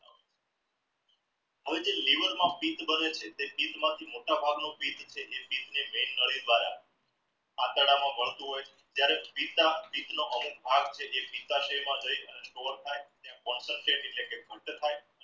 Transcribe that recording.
હવે જે liver માં બારે છે તે મોટા ભાગ નો આતરડા માં માડતું હોય ત્યરેહ થાઈ